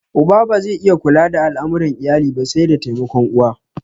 Uba ba zai iya kula da al'amuran iyali ba sai da taimakon uwa